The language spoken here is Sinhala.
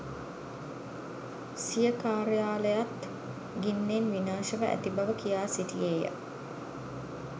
සිය කාර්යාලයත් ගින්නෙන් විනාශව ඇති බව කියා සිටියේය.